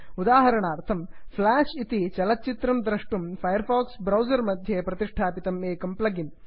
उदाहरणार्थं फ्लाष् इति चलच्चित्रं द्रष्टुं फैर् फाक्स् ब्रौसर् मध्ये प्रतिष्ठापितं एकं प्लग् इन्